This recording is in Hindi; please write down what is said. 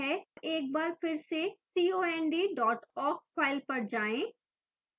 एक बार फिर से cond dot awk file पर जाएं